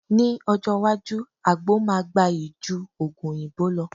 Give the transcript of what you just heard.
Ní ọjọ́ iwájú, àgbo máa gbayì ju Ògùn òyìnbó lọ